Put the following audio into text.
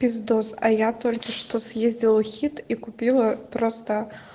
пиздос а я только что съездила в хит и купила просто